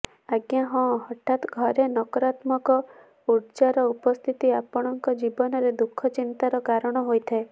ଆଜ୍ଞା ହଁ ହଠାତ୍ ଘରେ ନକାରତ୍ମକ ଉର୍ଜାର ଉପସ୍ଥିତି ଆପଣଙ୍କ ଜୀବନରେ ଦୁଃଖ ଚିନ୍ତାର କାରଣ ହୋଇଥାଏ